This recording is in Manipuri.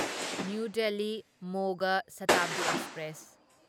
ꯅꯤꯎ ꯗꯦꯜꯂꯤ ꯃꯣꯒ ꯁꯥꯇꯥꯕꯗꯤ ꯑꯦꯛꯁꯄ꯭ꯔꯦꯁ